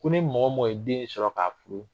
Ko ni mɔgɔ mɔgɔ ye den sɔrɔ ka fili